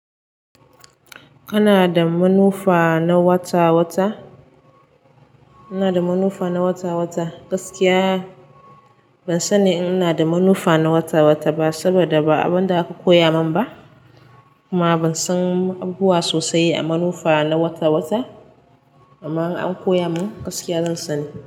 Kana da manufa na wata-wata? Ina da manufa na wata-wata? Gaskiya ban sani in ina da manufa na wata-wata ba saboda ba abin da aka koya min ba, kuma ban san abubuwa sosai a manufa na wata-wata. Amma in an koya min gaskiya zan sani.